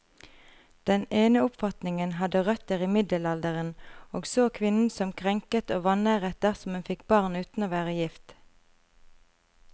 Den ene oppfatningen hadde røtter i middelalderen, og så kvinnen som krenket og vanæret dersom hun fikk barn uten å være gift.